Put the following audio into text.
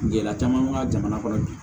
Gɛlɛya caman ka jamana kɔnɔ bi